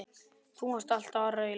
Þú varst alltaf að raula.